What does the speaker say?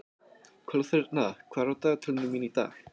Kolþerna, hvað er á dagatalinu mínu í dag?